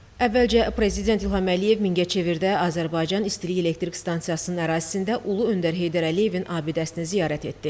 Əvvəlcə Prezident İlham Əliyev Mingəçevirdə Azərbaycan İstilik Elektrik Stansiyasının ərazisində Ulu Öndər Heydər Əliyevin abidəsini ziyarət etdi.